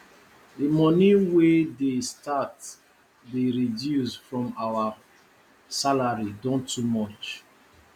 the money wey dey start dey reduce from our salary don too much